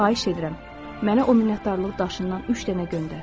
Xahiş edirəm, mənə o minnətdarlıq daşından üç dənə göndər.